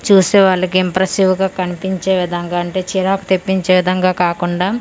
చూసేవాళ్ళకి impressive గా కన్పించే విధంగా అంటే చిరాకు తెప్పించే విధంగా కాకుండా .